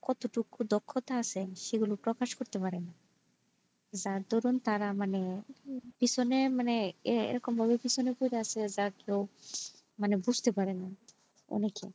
কত টুকু দক্ষতা আছে সেগুলো প্রকাশ করতে পারেনা যার দরুন তারা মানে পিছনে মানে এরকম ভাবে পিছনে পরে আছে যা কেউ বুজতে পারেনা অনেকে।